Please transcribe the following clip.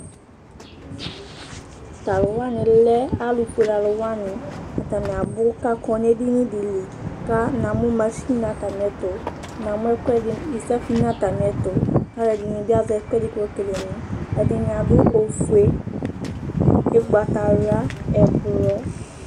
to alowani lɛ alofuele alowani atani abò k'akɔ n'edini di li kò namo mashin n'atamiɛto namo ɛkoɛdi safi n'atamiɛto k'aloɛdini bi azɛ ɛkoɛdi k'ekele mo ɛdini ado ofue ugbata wla ublɔ